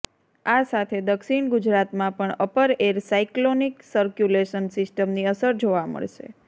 આ સાથે દક્ષિણ ગુજરાતમાં પણ અપર એર સાઇક્લોનિક સર્ક્યુલેશન સિસ્ટમની અસર જોવા મળશે